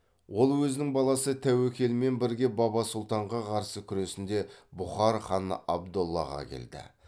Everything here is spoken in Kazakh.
ол өзінің баласы тәуекелмен бірге баба сұлтанға қарсы күресінде бұқар ханы абдоллаға келді